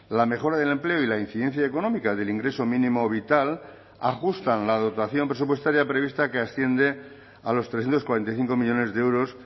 la mejora del empleo y la incidencia económica del ingreso mínimo vital ajustan la dotación presupuestaria prevista que asciende a los trescientos cuarenta y cinco millónes de euros